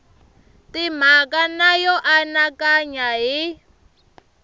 timhaka na yo anakanya hi